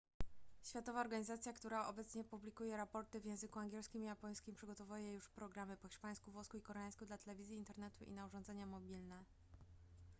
światowa organizacja która obecnie publikuje raporty w języku angielskim i japońskim przygotowuje już programy po hiszpańsku włosku i koreańsku dla telewizji internetu i na urządzenia mobilne